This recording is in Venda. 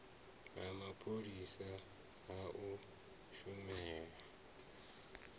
ha mapholisa ha u shumela